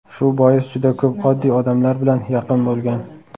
Shu bois juda ko‘p oddiy odamlar bilan yaqin bo‘lgan.